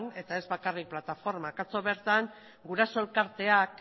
eta ezbakarrik plataformak atzo bertan guraso elkarteak